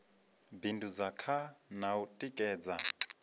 bindudza kha na u tikedza